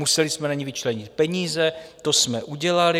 Museli jsme na ni vyčlenit peníze, to jsme udělali.